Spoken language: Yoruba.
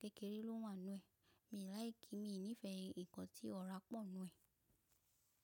kékeré ló wà nínú ẹ̀. Mi ò like, mi ò nífẹ̀ẹ́ nǹkan tí ọ̀rá pọ̀ nínú ẹ̀.